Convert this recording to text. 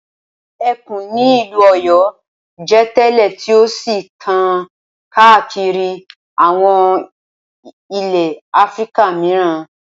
Ẹkùn ni ìlú Ọ̀yọ́ jẹ́ tẹ́lẹ̀ tí ó sì tàn káàkiri àwọn ilẹ̀ Áfíríkà mìíràn.